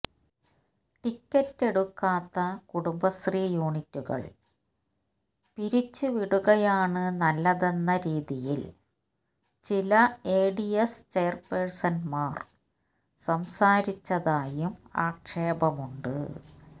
ടിക്കറ്റെടുക്കാത്ത കുടുംബശ്രീ യൂനിറ്റുകള് പിരിച്ച് വിടുകയാണ് നല്ലതെന്ന രീതിയില് ചില എഡിഎസ് ചെയ്ര് പേഴ്സണ്മാര് സംസാരിച്ചതായും ആക്ഷേപമുണ്ട്